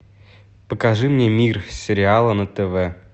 покажи мне мир сериала на тв